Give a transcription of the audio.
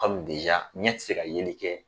ɲɛ ti se ka yeli kɛ